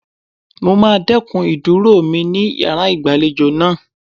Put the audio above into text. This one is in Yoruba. Mo máa dẹ́kun ìdúró mi ní yàrá ìgbàlejò náà.